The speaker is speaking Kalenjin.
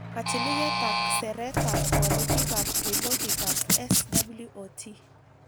Kachiliket ak seret ab walutikab ripotitab SWOT